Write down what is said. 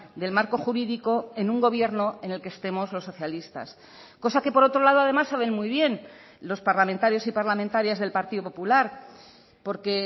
del marco jurídico en un gobierno en el que estemos los socialistas cosa que por otro lado además saben muy bien los parlamentarios y parlamentarias del partido popular porque